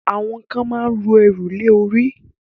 àwọn kan ma ń ru ẹrù lé orí.